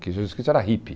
que Jesus Cristo era hippie.